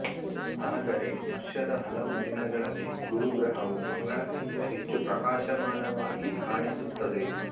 ಆದರೆ ವರ್ಷದ ಹಲವು ದಿನಗಳಲ್ಲಿ ಗುರು ಗ್ರಹವು ಮಂಗಳಕ್ಕಿಂತ ಹೆಚ್ಚು ಪ್ರಕಾಶಮಾನವಾಗಿ ಕಾಣಿಸುತ್ತದೆ